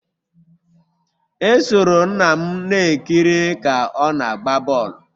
Esoro nna m na-ekiri ka ọ na-agba bọl